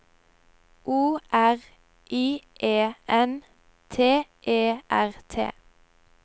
O R I E N T E R T